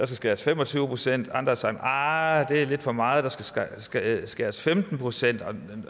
skæres fem og tyve procent andre har sagt arh det er lidt for meget der skal skal skæres femten procent andre